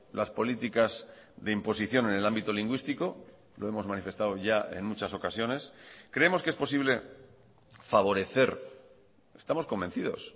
las políticas de imposición en el ámbito lingüístico lo hemos manifestado ya en muchas ocasiones creemos que es posible favorecer estamos convencidos